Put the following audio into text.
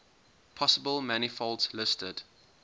possible manifolds listed